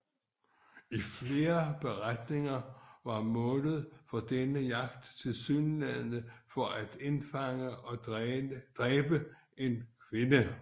I flere beretninger var målet for denne jagt tilsyneladende at indfange og dræbe en kvinde